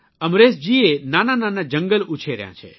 અમરેશજીએ નાના નાના જંગલ ઉછેર્યા છે